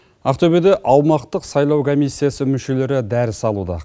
ақтөбеде аумақтық сайлау комиссиясы мүшелері дәріс алуда